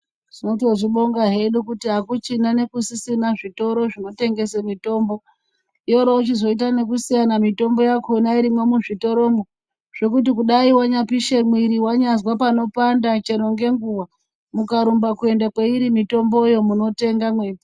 Tinotozvibonga hedu kuti akuchina nekusisina zvitoro zvinotengese mutombo yoro chizoita nekusiyana mutombo yakho a irimwo muzvitoromwo zvekuti dai wanyapishe miri wanyazwa panopanda chero ngenguwa ukarumba kuenda kweiri mutomboyo munotenga mweipo.